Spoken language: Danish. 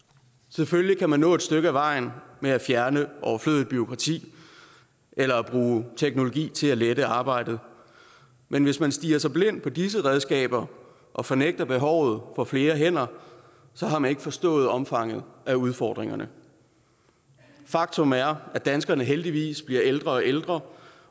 selvfølgelig kan man nå et stykke ad vejen med at fjerne overflødigt bureaukrati eller bruge teknologi til at lette arbejdet men hvis man stirrer sig blind på disse redskaber og fornægter behovet for flere hænder har man ikke forstået omfanget af udfordringerne faktum er at danskerne heldigvis bliver ældre og ældre